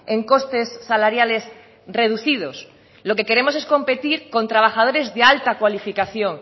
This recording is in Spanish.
en costes salariales reducidos lo que queremos es competir con trabajadores de alta cualificación